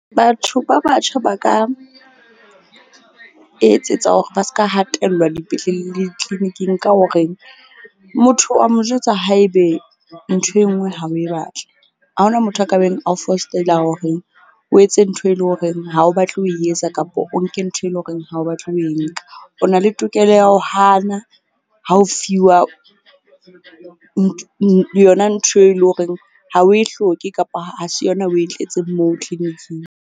Batho ba batjha ba ka etsetsa hore ba ska hatellwa dipetleleng le ditleniking ka hore motho wa mo jwetsa haebe ntho e nngwe ha o e batle. Ha ho na motho a ka beng a o fostella hore o etse ntho e leng horeng ha o batle ho e etsa kapa o nke ntho eleng horeng ha o batla ho e nka. O na le tokelo ya ho hana ha o fiwa yona ntho eleng horeng ha o e hloke, kapa ha se yona o e tletseng moo clinic-ing.